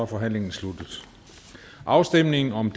forhandlingen sluttet afstemning om